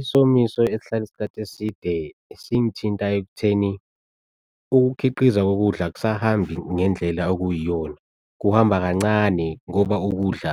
Isomiso esihlala isikhathi eside singithinta ekutheni, ukukhiqiza kokudla ak'sahambi ngendlela okuyiyona. Kuhamba kancane ngoba ukudla